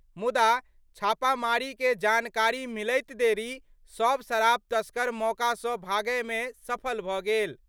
मुदा, छापामारी के जानकारी मिलैत देरी सब शराब तस्कर मौका सं भागय में सफल भ' गेल।